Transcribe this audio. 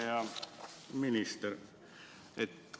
Hea minister!